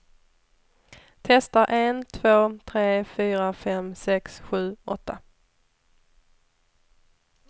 Testar en två tre fyra fem sex sju åtta.